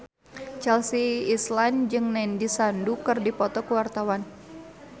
Chelsea Islan jeung Nandish Sandhu keur dipoto ku wartawan